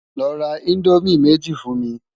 Lò rá Indómi méji fún mi